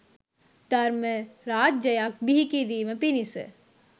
ධර්ම රාජ්‍යයක් බිහි කිරීම පිණිස